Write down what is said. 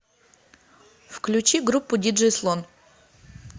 включи группу диджей слон